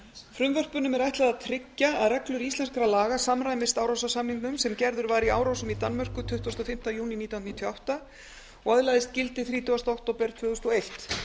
frumvörpunum er ætlað að tryggja að reglur íslenskra laga samræmist árósasamningnum sem gerður var í árósum í danmörku tuttugasta og fimmta júní nítján hundruð níutíu og átta og öðlaðist gildi þrítugasta október tvö þúsund og eitt